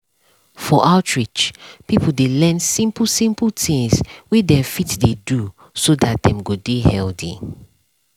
for outreach people dey learn simple simple things wey dem fit dey do so that dem go dey healthy.